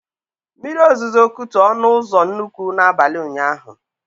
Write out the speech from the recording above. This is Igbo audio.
Mmiri ozuzo kutu ọnụ ụzọ nnukwu na abalị ụnyaahụ